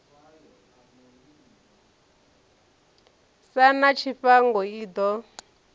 sa na tshifhango i ḓo